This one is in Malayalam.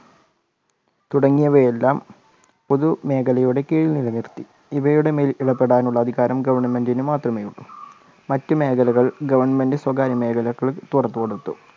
തുടങ്ങിയവയെല്ലാം പൊതുമേഖലയുടെ കീഴിൽ നിലനിർത്തി ഇവയുടെ മേൽപെടാനുള്ള അധികാരം government ന് മാത്രമേയുള്ളൂ. മറ്റു മേഖലകൾ government സ്വകാര്യ മേഖലകൾ തുറന്നു കൊടുത്തു.